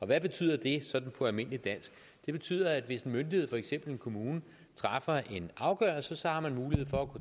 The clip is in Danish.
hvad betyder det sådan på almindeligt dansk det betyder at hvis en myndighed for eksempel en kommune træffer en afgørelse så har man mulighed for